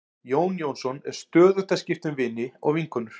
Jón Jónsson er stöðugt að skipta um vini og vinkonur.